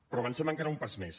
però avancem encara un pas més